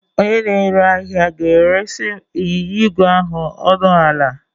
Onye na-ere ahịa ga-eresị m ịnyịnya ígwè ahụ ọnụ ala